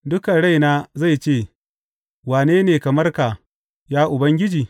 Dukan raina zai ce, Wane ne kamar ka, ya Ubangiji?